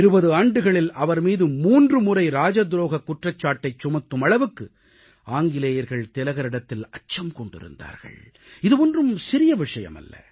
20 ஆண்டுகளில் அவர்மீது 3 முறை ராஜதுரோகக் குற்றச்சாட்டைச் சுமத்தும் அளவுக்கு ஆங்கிலேயர்கள் திலகரிடத்தில் அச்சம் கொண்டிருந்தார்கள் இது ஒன்றும் சிறிய விஷயம் அல்ல